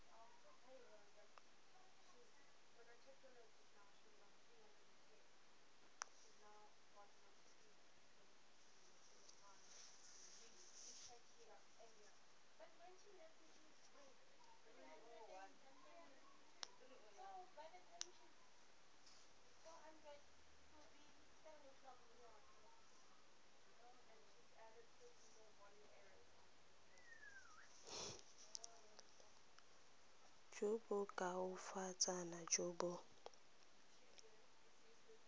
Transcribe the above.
jo bo koafatsang jo bo